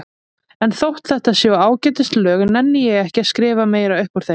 En þótt þetta séu ágætis lög nenni ég ekki að skrifa meira upp úr þeim.